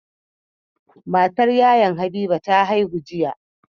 Matar Yayan habiba ta haihu